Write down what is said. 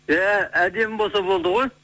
иә әдемі болса болды ғой